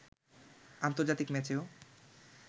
আন্তর্জাতিক ম্যাচেও